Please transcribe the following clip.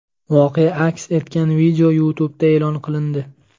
Voqea aks etgan video YouTube’da e’lon qilindi .